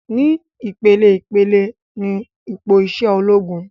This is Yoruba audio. Ni ìpeleìpele ni ipò isẹ ológun